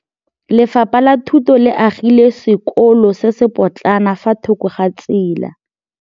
Lefapha la Thuto le agile sekôlô se se pôtlana fa thoko ga tsela.